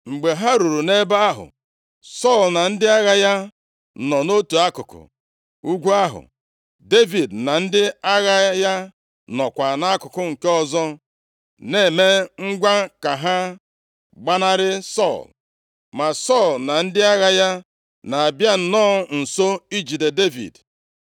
Mgbe ha ruru nʼebe ahụ, Sọl na ndị agha ya nọ nʼotu akụkụ ugwu ahụ, Devid na ndị agha ya nọkwa nʼakụkụ nke ọzọ, na-eme ngwa ka ha gbanarị Sọl. Ma Sọl na ndị agha ya na-abịa nnọọ nso ijide Devid.